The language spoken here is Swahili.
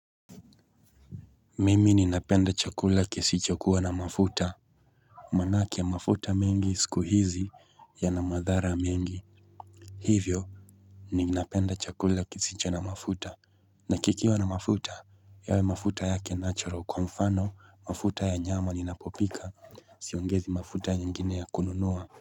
Mimi ninapenda chakula kisicho kuwa na mafuta Maanake ya mafuta mingi siku hizi ya na madhara mingi Hivyo ninapenda chakula kisicho na mafuta na kikiwa na mafuta yawe mafuta yake natural kwa mfano mafuta ya nyama ninapopika siongezi mafuta nyingine ya kununua.